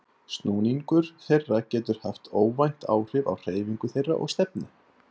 Snúningur þeirra getur haft óvænt áhrif á hreyfingu þeirra og stefnu.